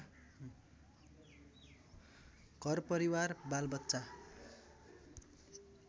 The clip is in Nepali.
घरपरिवार बालबच्चा